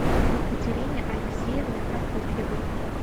екатерине алексеевне прокопьевой